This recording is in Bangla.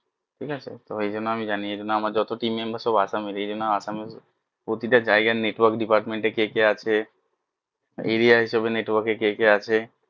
ঠিক আছে তো এই জন্য আমি জানি এই জন্য আমার যত team member সব আসামের এই জন্য আসামের প্রতিটা জায়গায় network department এ কে কে আছে area হিসাবে network এ কে কে আছে